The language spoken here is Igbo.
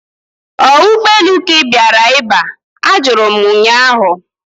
Ọ ụgbọelu ka ị bịara iba? Ajụrụ m ụnyaahụ